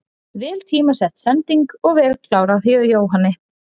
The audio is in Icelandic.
Vel tímasett sending og vel klárað hjá Jóhanni.